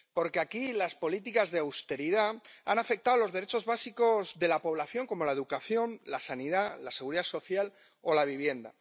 Porque aquí las políticas de austeridad han afectado a los derechos básicos de la población, como la educación, la sanidad, la Seguridad Social o la vivienda.